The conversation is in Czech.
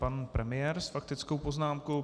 Pan premiér s faktickou poznámkou.